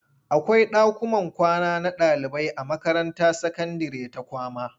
Akwai ɗakuman kwana na ɗaliibai a makaranta sakandire ta kwama.